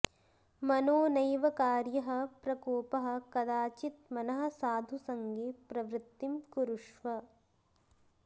मनो नैव कार्यः प्रकोपः कदाचित् मनः साधुसङ्गे प्रवृत्तिं कुरुष्व